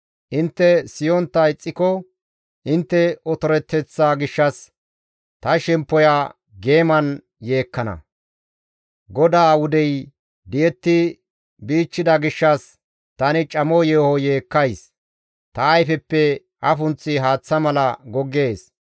Intte siyontta ixxiko, intte otoreteththaa gishshas ta shemppoya geeman yeekkana; GODAA wudey di7etti bichchida gishshas tani camo yeeho yeekkays; ta ayfeppe afunththi haaththa mala goggees.